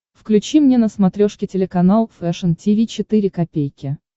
включи мне на смотрешке телеканал фэшн ти ви четыре ка